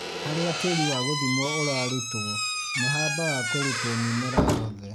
Harĩa tĩri wagũthimwo ũrarutwo, nĩ habaga kũrutwo mĩmera yothe.